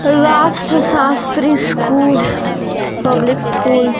राष्ट्र Shastri school public school --